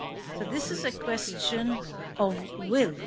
So this is a question of will.